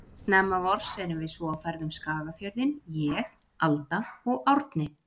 Snemma vors erum við svo á ferð um Skagafjörðinn, ég, Alda og Árni.